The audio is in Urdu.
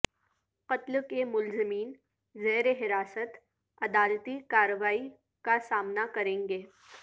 قتل کے ملزمین زیر حراست عدالتی کاروائی کا سامنا کریں گے